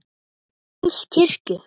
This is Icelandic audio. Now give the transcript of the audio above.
Páls kirkju.